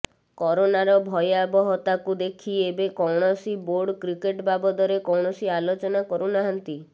କରୋନାର ଭୟବହତାକୁ ଦେଖି ଏବେ କୌଣସି ବୋର୍ଡ କ୍ରିକେଟ ବାବଦରେ କୌଣସି ଆଲୋଚନା କରୁନାହାଁନ୍ତି